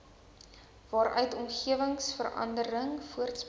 waaruit omgewingsverandering voortspruit